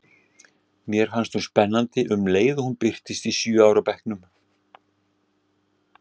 Mér fannst hún spennandi um leið og hún birtist í sjö ára bekknum.